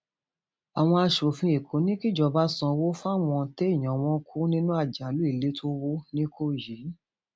àwọn aṣòfin èkó ní kíjọba sanwó fáwọn téèyàn wọn kú nínú àjálù ilé tó wọ nìkòyí